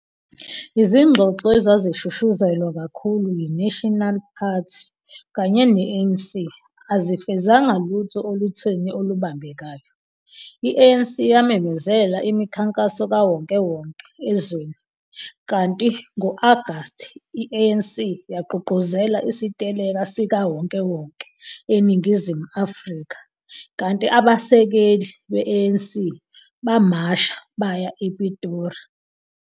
Izingxoxo ezazishushuzelwa kakhulu yi-National Party kanye ne-ANC, azifezanga lutho olutheni olubambekayo. I-ANC yamemezela imikhankaso kawonkewonke ezweni, kanti ngo-Agast, i-ANC yagqugquzelela isiteleka sikawonkewonke eNingizimu Afrika, kanti abasekeli be-ANC bamasha baya ePitori.